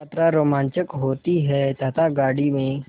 यात्रा रोमांचक होती है तथा गाड़ी में